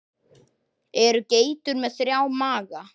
Eru geitur með þrjá maga?